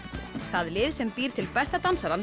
það lið sem býr til besta